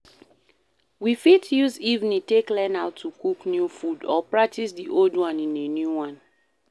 we fit use evening take learn how to cook new food or practice di old one in a new way